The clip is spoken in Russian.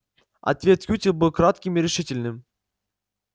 ответ кьюти был кратким и решительным